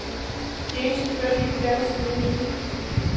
De eneste bøger, de ikke blander sig i, er mine.